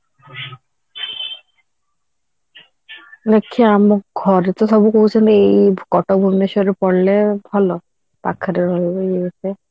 ଆଛା ଆମ ଘରେ ତ ସବୁ କହୁଛନ୍ତି ଏଇ କଟକ ଭୁବନେଶ୍ବରରେ ପଢିଲେ ଭଲ ପାଖରେ ରହିବୁ ଇଏ ସିଏ